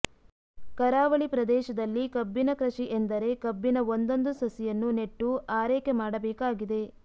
ಕರಾವಳಿ ಪ್ರದೇಶದಲ್ಲಿ ಕಬ್ಬಿನ ಕೃಷಿ ಎಂದರೆ ಕಬ್ಬಿನ ಒಂದೊಂದು ಸಸಿಯನ್ನೂ ನೆಟ್ಟು ಆರೈಕೆ ಮಾಡಬೇಕಾಗಿದೆ